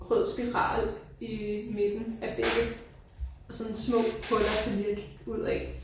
Rød spiral i midten af billedet og sådan små huller til ligge ud af